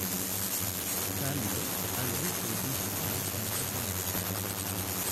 Kallo waxaa lagu kaydin karaa muddo dheer.